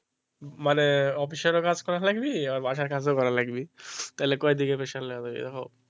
মানে অফিসারের কাজ করা লাগবে বাসার কাজও করা লাগবে তাহলে ক দিকে pressure লাগবে দেখো?